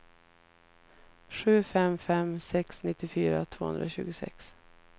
sju fem fem sex nittiofyra tvåhundratjugosex